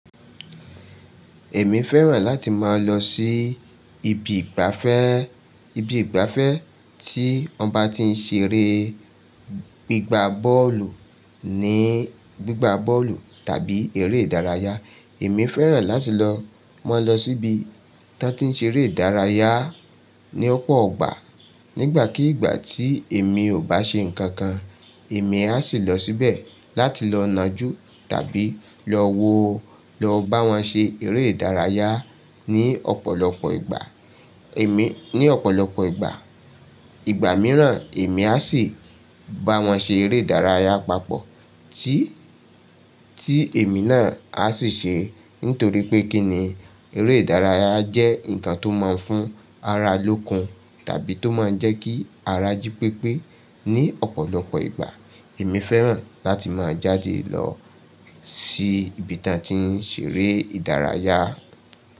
Èmi fẹ́ràn láti máa lọ sí ibi ìgbafẹ́, ibi ìgbafẹ́ tí wọ́n bá ti ń ṣeré gbígba bọ́ọ̀lù ní, gbígba bọ́ọ̀lù tàbí eré ìdárayá. Èmi fẹ́ràn láti lọ, máa lọ sí ibi tí wọ́n ti ń ṣe eré ìdárayá ní ọ̀pọ̀ ọgbà. Nígbàkígbà tí èmi ò bá ṣe nǹkan kan, èmi á sì lọ síbẹ̀ láti lọ nájú tàbí lọ wo, lọ bá wọn ṣe eré ìdárayá ní ọ̀pọ̀lọpọ̀ ìgbà. Èmi, ní ọ̀pọ̀lọpọ̀ ìgbà. Ìgbà mìíràn èmi á sì bá wọn ṣe eré ìdárayá papọ̀ tí, tí èmi náà á sì ṣe. Nítorí pé kí ni, eré ìdárayá jẹ́ nǹkan tó máa ń fún ara lókun tàbí tó máa ń jẹ́ kí ara jí pépé. Ni ọ̀pọ̀lọpọ̀ ìgbà, èmi fẹ́ràn láti máa jáde lọ sí ibi ta ti ń ṣe eré ìdárayá.